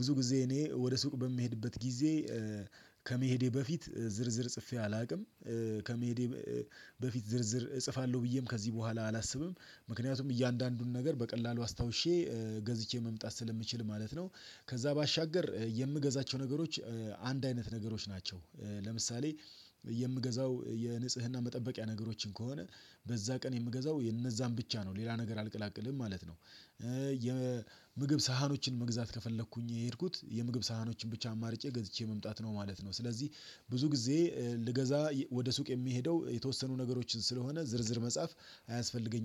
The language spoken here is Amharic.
ብዙ ጊዜ እኔ ወደ ሱቅ በምሄድበት ጊዜ ከመሄዴ በፊት ዝርዝር ጽፌ አላውቅም ከመሄዴ በፊት ዝርዝር እጽፋለሁ ብዬም ከዚህ በኋላ አላስብም ምክንያቱም እያንዳንዱን ነገር በቀላሉ አስታውሼ ገዝቼ መምጣት ስለምችል ማለት ነው። ከዛ ባሻገር የምገዛቸው ነገሮች አንድ አይነት ነገሮች ናቸው ለምሳሌ የምገዛው የንጽህና መጠበቂያ ነገሮችን ከሆነ በዛ ቀን የምገዛው የነዛን ብቻ ነው ሌላ ነገር አልቀላቅልም ማለት ነው። የምግብ ሳህኖችን መግዛት ከፈለኩኝ የሄድኩት የምግብ ሳህኖችን ብቻ አማርጬ ገዝቼ መምጣት ነው ማለት ነው። ስለዚህ ብዙ ጊዜ ልገዛ ወደ ሱቅ የምሄደው የተወሰኑ ነገሮችን ስለሆነ ዝርዝር መጻፍ አያስፈልገኝም